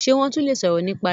ṣe won le tún sọrọ nípa rẹ.